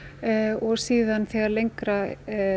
og síðan þegar lengra